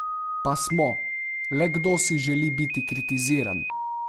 Pa smo, le kdo si želi biti kritiziran!